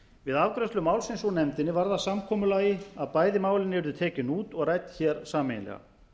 við afgreiðslu málsins úr nefndinni varð að samkomulagi að bæði málin yrðu tekin út og rædd hér sameiginlega